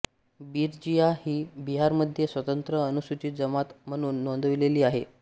बिरजिया ही बिहारमध्ये स्वतंत्र अनुसूचित जमात म्हणून नोंदविलेली आहे